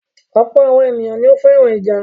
Ọ̀pọ̀ àwọn ènìyàn ni ó fẹ́ràn ajá.